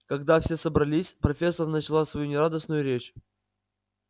когда все собрались профессор начала свою нерадостную речь